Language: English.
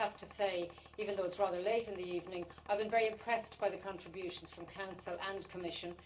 I have to say, even though it is rather late in the evening, I have been very impressed by the contributions from Council and Commission.